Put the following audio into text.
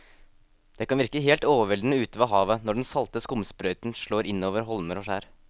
Det kan virke helt overveldende ute ved havet når den salte skumsprøyten slår innover holmer og skjær.